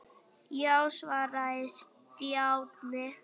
Já svaraði Stjáni.